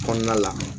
Kɔnɔna la